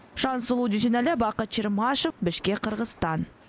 жансұлу дүйсенәлі бакыт чермашев бішкек қырғызстан